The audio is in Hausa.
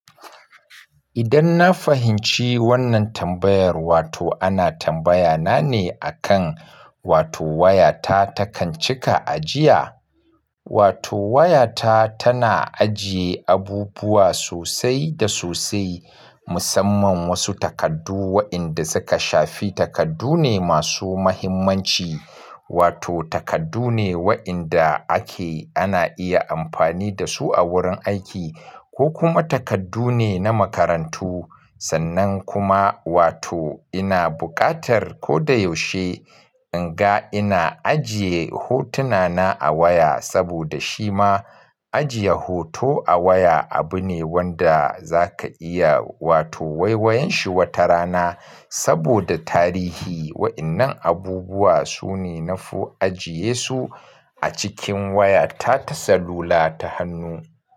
Idan na fahimci wannan tambayar wato ana tambaya na ne akan wato waya ta takan cika ajiya? Wato waya ta tana ajiye abubuwa sosai da sosai musamman wasu takardu wa'inda suka shafi takardu ne masu muhimmanci. Wato takardu ne wa'inda ake ana iya amfani da su a wurin aiki ko kuma takardu ne na makarantu. Sannan kuma wato ina buƙatar ko da yaushe in ga ina ajiye hotuna na a waya saboda shi ma ajiye hoto a waya abu ne wanda zaka iya wato waiwayen shi wata rana saboda tarihi wa'innan abubuwa su ne nafo ajiye su a cikin waya ta ta sallula ta hannu.